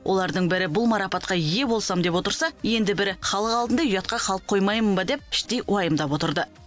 олардың бірі марапатқа ие болсам деп отырса енді бірі халық алдында ұятқа қалып қоймайын ба деп іштей уайымдап отырды